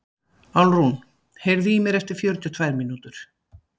Álfrún, heyrðu í mér eftir fjörutíu og tvær mínútur.